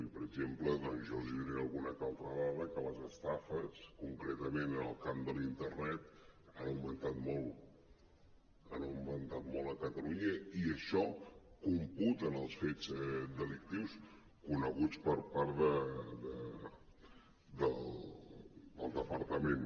i per exemple jo els donaré una que altra dada en què les estafes concretament en el camp de la internet han augmentat molt han aug·mentat molt a catalunya i això computa en els fets delictius coneguts per part del departament